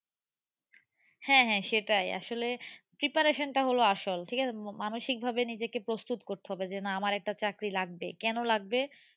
হ্যাঁ হ্যাঁ সেটাই। আসলে preparation টা হলো আসল। ঠিক আছে। মানসিক ভাবে নিজেকে প্রস্তুত করতে হবে যে না আমার একটা চাকরি লাগবেই। কেন লাগবে